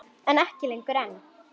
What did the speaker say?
En ekki lengur ein.